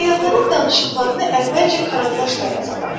Səyyahların danışıqlarını əvvəlcə karandaşla yazırlar.